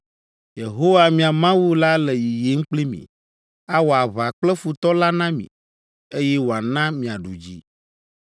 Yehowa, mia Mawu la le yiyim kpli mi! Awɔ aʋa kple futɔ la na mi, eye wòana miaɖu dzi!’